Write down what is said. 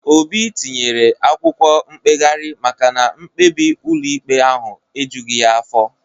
Obi tinyere akwụkwọ mkpegharị maka na mkpebi ụlọikpe ahụ ejughị ya afọ